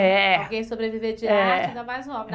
É. Alguém sobreviver de arte, ainda mais um homem.